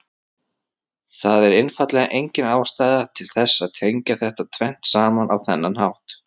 Það er einfaldlega engin ástæða til þess að tengja þetta tvennt saman á þennan hátt.